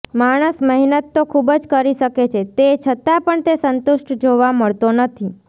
માણસ મહેનત તો ખુબ જ કરી છે તે છતાં પણ તે સંતુષ્ટ જોવા મળતો નથી